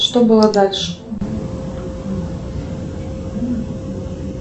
что было дальше